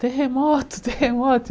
Terremoto, terremoto.